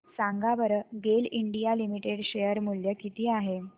सांगा बरं GAIL India Limited share मूल्य किती आहे